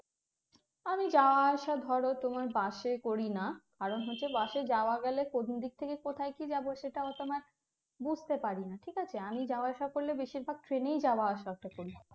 আমি যাওয়া আসা ধরো তোমার bus এ করি না কারন হচ্ছে bus এ যাওয়া গেলে কোন দিক থেকে কোথায় কি যাবো সেটা অতো আমার বুঝতে পারিনা ঠিক আছে আমি যাওয়া আসা করলে বেশির ভাগ train এই যাওয়া আসা টা করি